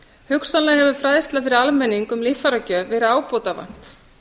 hugsanlega hefur fræðslu fyrir almenning um líffæragjöf verið ábótavant